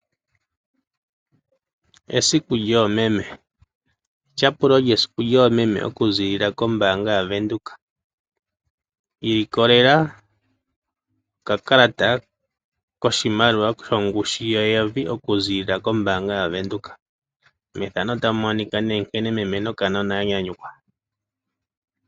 Esiku lyoomeme, etyapulo lyesiku lyoomeme okuziilila kombaanga yaVenduka. Ilikolela okakalata koshimaliwa shongushu yeyovi okuziilila kombaanga yaVenduka.